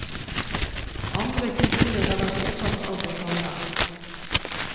Andre kulturer har vært opptatt av det samme.